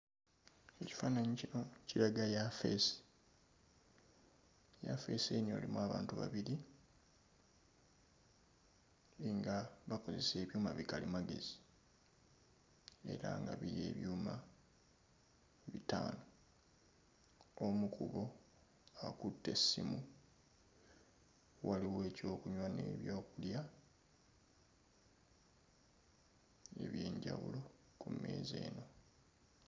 Ekifaananyi kino kiraga yaafeesi yaafeesi eno erimu abantu babiri nga bakozesa ebyuma bikalimagezi era nga biri ebyuma bitaano omu ku bo akutte essimu waliwo ekyokunywa n'ebyokulya eby'enjawulo ku mmeeza eno.